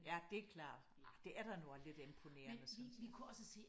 Ja det klart. Ah det er da nu også lidt imponerende synes jeg